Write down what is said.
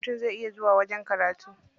Mutum zai iya zuwa wajen karatu.